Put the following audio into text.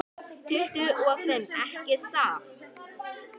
Tuttugu og fimm, ekki satt?